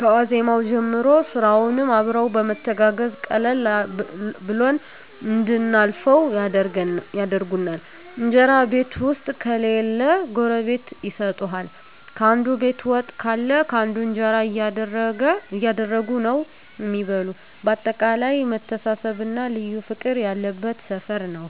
ከዋዜማዉ ጀምሮ ስራዉንም አብረዉ በመተጋገዝ ቀለል ብሎን እንድናልፈዉ ያደርጉናል። እንጀራ ቤት ዉስጥ ከሌለ ጎረቤት ይሰጡሀል፣ ካንዱ ቤት ወጥ ካለ ካንዱ እንጀራ እያደረጉ ነዉ እሚበሉ በአጠቃላይ መተሳሰብ እና ልዩ ፍቅር ያለበት ሰፈር ነዉ።